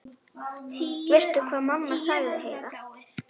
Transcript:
Veistu hvað, mamma, sagði Heiða.